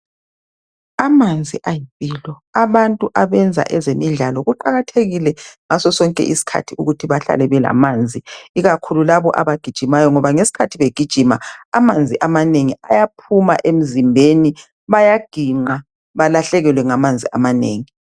Amanzi ayimpilo, abantu abenza ezemidlalo kuqakathekile ngaso sonke sikhathi behlale belamanzi ikakhulu laba abagijimayo ngoba ngesikhathi begijima amanzi amanengi ayaphuma emzimbeni ebayaginqa balahlekelwe ngamanzi amanengi.